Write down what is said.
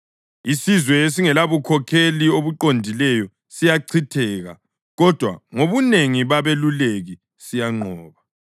Isizwe esingelabukhokheli obuqondileyo siyachitheka, kodwa ngobunengi babeluleki siyanqoba.